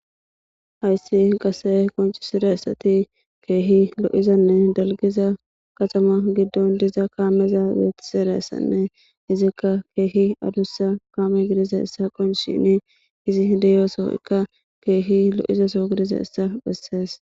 Hayssi qase qoncisira essati keehi lo'izanne dalgiza qaxama giddon diza kaameza beetiseressanne izikka keehi adussa kaame gidiza issa qonc shini izi deyooso ikka keehi lo'izaso gidiza issa bessees